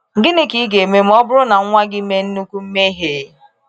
Gịnị ka ị ga-eme ma ọ bụrụ na nwa gị mee nnukwu mmehie?